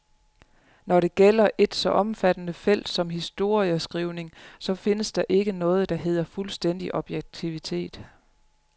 Når det gælder et så omfattende felt som historieskrivningen, så findes der ikke noget, der hedder fuldstændig objektivitet.